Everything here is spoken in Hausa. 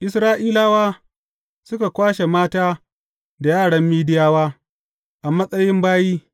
Isra’ilawa suka kwashe mata da yaran Midiyawa, a matsayin bayi.